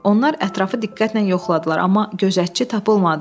Onlar ətrafı diqqətlə yoxladılar, amma gözətçi tapılmadı.